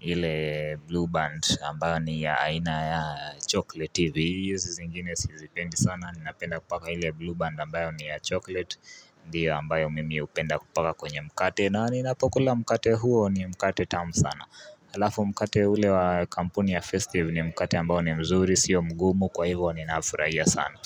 ile blue band ambayo ni ya aina ya chocolate ivi ingine si zipendi sana Ninapenda kupaka ile blue band ambayo ni ya chocolate Ndiyo ambayo mimi upenda kupaka kwenye mkate na ninapokula mkate huo ni mkate tamu sana Halafu mkate ule wa kampuni ya festive ni mkata ambao ni mzuri siyo mgumu kwa hivu ni nafurahiya sana.